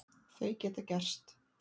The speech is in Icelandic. Þau geta gerst.